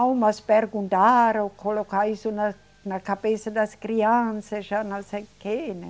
Não, mas perguntaram, colocar isso na, na cabeça das crianças, já não sei o quê, né.